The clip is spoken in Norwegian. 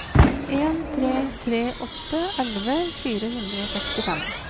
en tre tre åtte elleve fire hundre og sekstifem